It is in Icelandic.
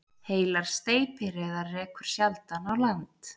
Heilar steypireyðar rekur sjaldan á land